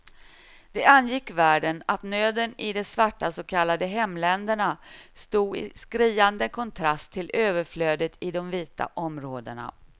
Det angick världen att nöden i de svarta så kallade hemländerna stod i skriande kontrast till överflödet i de vita områdena.